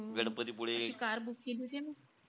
Ganpatipule?